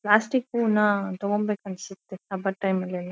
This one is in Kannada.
ಪ್ಲಾಸ್ಟಿಕ್ ಪೂನ್ನ ತೋಕೋಬೇಕಂಸುತ್ತೆ ಹಬ್ಬದ್ ಟೈಮ್ ಅಲ್ಲೆಲ್ಲಾ.